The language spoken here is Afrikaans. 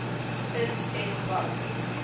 is en wat